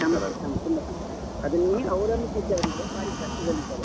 ಸಮಸ್ಯೆ ಸಮಸ್ಯೆ, ತುಂಬಾ ಸಮಸ್ಯೆ ಆಗಿತ್ತು. ಇದನ್ನೆ ಅವಲಂಬಿಸಿದ್ದವರಿಗೆ ಭಾರಿ ಕಷ್ಟದಲ್ಲಿದ್ದಾರೆ.